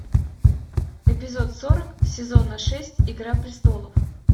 эпизод сорок сезона шесть игра престолов